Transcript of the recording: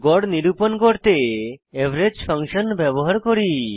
গড় নিরূপণ করতে এভারেজ ফাংশন ব্যবহার করি